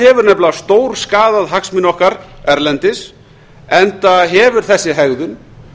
hefur nefnilega stórskaðað hagsmuni okkar erlendis enda hefur þessi hegðun